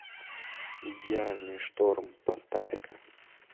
идеальный шторм поставь ка